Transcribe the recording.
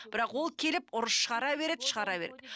бірақ ол келіп ұрыс шығара береді шығара береді